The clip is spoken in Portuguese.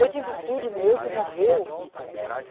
Eu tive filho meu que morreu.